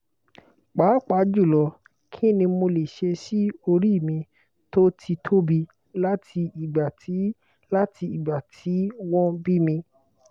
papajulo kini mole se si ori mi to ti tobi lati igba ti lati igba ti won bimi